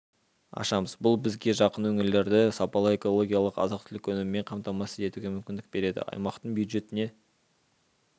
ашамыз бұл бізге жақын өңірлерді сапалы экологиялық азық-түлік өнімімен қамтамасыз етуге мүмкіндік береді аймақтың бюджетіне